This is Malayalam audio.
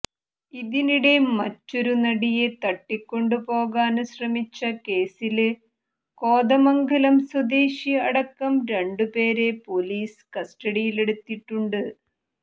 ഇതിനിടെ മറ്റൊരു നടിയെ തട്ടിക്കൊണ്ടു പോകാന് ശ്രമിച്ച കേസില് കോതമംഗലം സ്വദേശി അടക്കം രണ്ടു പേരെ പൊലീസ് കസ്റ്റഡിയിലെടുത്തിട്ടുണ്ട്